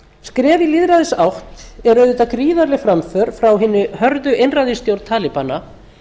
skref í lýðræðisátt er auðvitað gríðarleg framför frá hinni hörðu einræðisstjórn talibana